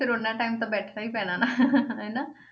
ਫਿਰ ਓਨਾ time ਤਾਂ ਬੈਠਣਾ ਹੀ ਪੈਣਾ ਨਾ ਹਨਾ